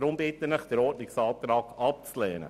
Daher bitte ich Sie, den Ordnungsantrag abzulehnen.